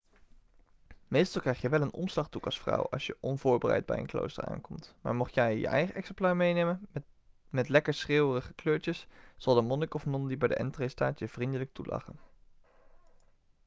meestal krijg je wel een omslagdoek als vrouw als je onvoorbereid bij een klooster aankomt maar mocht jij je eigen exemplaar meenemen met lekker schreeuwerige kleurtjes zal de monnik of non die bij de entree staat je vriendelijk toelachen